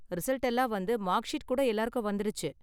Result எல்லாம் வந்து, mark sheet கூட எல்லாருக்கும் வந்திடுச்சு.